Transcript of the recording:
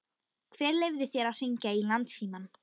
Hver leyfði þér að hringja í Landsímann?